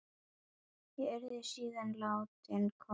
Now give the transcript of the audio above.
Ég yrði síðan látin koma fyrir dómara daginn eftir.